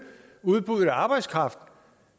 udbuddet af arbejdskraft